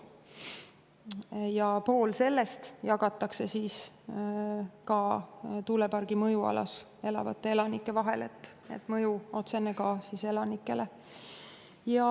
Ja pool sellest jagatakse tuulepargi mõjualas elavate elanike vahel, seega on sel otsene mõju ka elanikele.